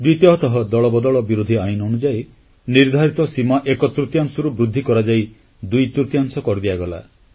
ଦ୍ୱିତୀୟତଃ ଦଳବଦଳ ବିରୋଧୀ ଆଇନ ଅନୁଯାୟୀ ନିର୍ଦ୍ଧାରିତ ସୀମା ଏକ ତୃତୀୟାଂଶରୁ ବୃଦ୍ଧି କରାଯାଇ ଦୁଇ ତୃତୀୟାଂଶ କରିଦିଆଗଲା